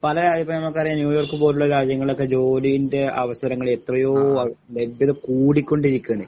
പലരാജ്യയിപ്പനമുക്കറിയാം ന്യൂയോർക്കുപോലുള്ള രാജ്യങ്ങളൊക്കെ ജോലിന്റ അവസരങ്ങള് എത്രയോ അഹ് ലബ്യത കൂടികൊണ്ടിരിക്യാണ്